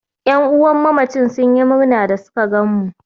Ƴan'uwan mamacin sun yi murna da suka gan mu